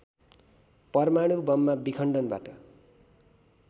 परमाणु बममा विखण्डनबाट